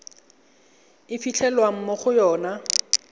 e fitlhelwang mo go yona